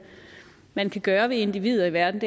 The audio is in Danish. man kan gøre ved individer i verden